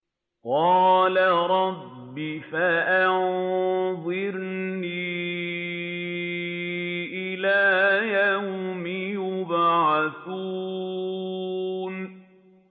قَالَ رَبِّ فَأَنظِرْنِي إِلَىٰ يَوْمِ يُبْعَثُونَ